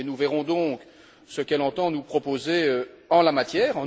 Nous verrons donc ce qu'elle entend nous proposer en la matière.